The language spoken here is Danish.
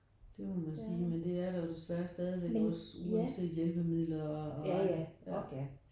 Det må man sige men det er der jo desværre stadigvæk også uanset hjælpemidler og og ja